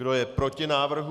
Kdo je proti návrhu?